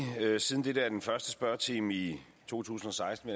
siden dette er den første spørgetime i to tusind og seksten